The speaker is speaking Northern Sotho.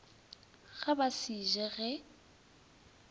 ga ba se je ge